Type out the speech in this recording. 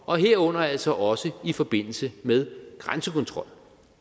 og herunder altså også i forbindelse med grænsekontrol